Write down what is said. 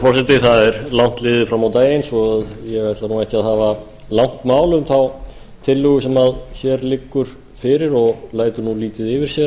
virðulegur forseti það er langt liðið fram á daginn svo ég ætla ekki að hafa langt mál um þá tillögu sem hér liggur fyrir og lætur lítið yfir